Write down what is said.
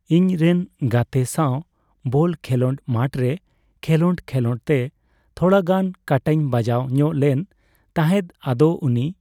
ᱤᱧ ᱨᱮᱱ ᱜᱟᱛᱮ ᱥᱟᱣ ᱵᱚᱞ ᱠᱷᱮᱞᱳᱰ ᱢᱟᱴᱷ ᱨᱮ ᱠᱷᱮᱞᱳᱰᱼᱠᱷᱮᱞᱳᱰᱛᱮ ᱛᱷᱚᱲᱟ ᱜᱟᱱ ᱠᱟᱴᱟᱧ ᱵᱟᱡᱟᱣ ᱧᱚᱜ ᱞᱮᱱ ᱛᱟᱦᱮᱸᱫ ᱟᱫᱚ ᱩᱱᱤ